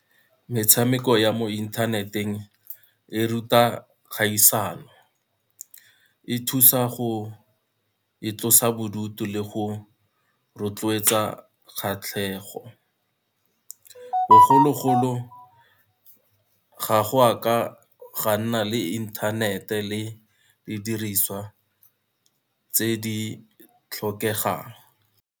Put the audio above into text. Metshameko ya mo inthaneteng e ruta kgaisano, e thusa go itlosa bodutu le go rotloetsa kgatlhego. Bogologolo, ga go a ka ga nna le inthanete le didiriswa tse di tlhokegang.